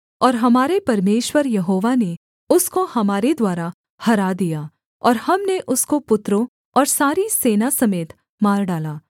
और हमारे परमेश्वर यहोवा ने उसको हमारे द्वारा हरा दिया और हमने उसको पुत्रों और सारी सेना समेत मार डाला